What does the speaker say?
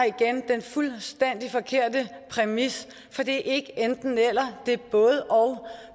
igen den fuldstændig forkerte præmis for det er ikke enten eller det er både og